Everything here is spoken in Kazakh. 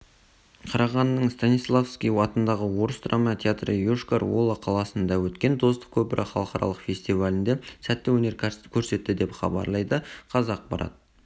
қарағандының станиславский атындағы орыс драма театры йошкар-ола қаласында өткен достық көпірі халықаралық фестивалінде сәтті өнер көрсетті деп хабарлады қазақпарат